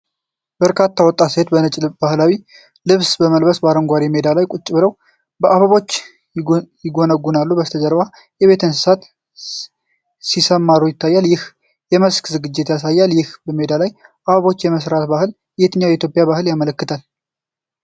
በርካታ ወጣት ሴቶች በነጭ ባህላዊ ልብስ በለመለመ አረንጓዴ ሜዳ ላይ ቁጭ ብለው አበቦችን ይጎነጉናሉ። በበስተጀርባ የቤት እንስሳት ሲሰማሩ ይታያሉ፣ ይህም የመስክ ዝግጅትን ያሳያል። ይህ በሜዳ ላይ አበቦችን የመስራት ባህል የትኛውን የኢትዮጵያ በዓል ያመለክታል?